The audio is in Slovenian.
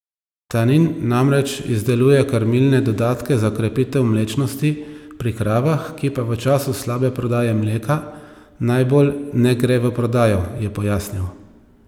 Tanin namreč izdeluje krmilne dodatke za krepitev mlečnosti pri kravah, ki pa v času slabe prodaje mleka najbolj ne gre v prodajo, je pojasnil.